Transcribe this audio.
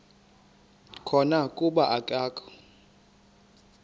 khona kuba akakho